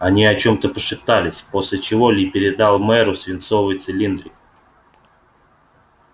они о чём-то пошептались после чего ли передал мэру свинцовый цилиндрик